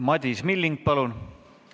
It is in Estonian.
Madis Milling, palun!